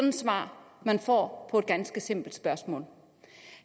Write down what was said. et svar man får på et ganske simpelt spørgsmål